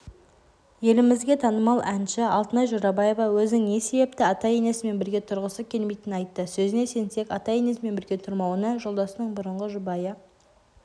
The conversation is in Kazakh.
елімізге танымал әнші алтынай жорабаева өзінің не себепті ата-енесімен бірге тұрғысы келмейтінін айтты сөзіне сенсек ата-енесімен бірге тұрмауына жолдасының бұрынғы жұбайы